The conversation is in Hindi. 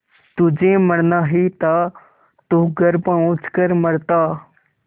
तुझे मरना ही था तो घर पहुँच कर मरता